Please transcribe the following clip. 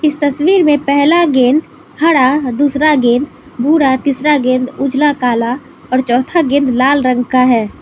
इस तस्वीर में पहला गेंद हरा और दूसरा गेंद भूरा तीसरा गेंद उजला काला और चौथा गेंद लाल रंग का है।